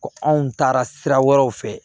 Ko anw taara sira wɛrɛw fɛ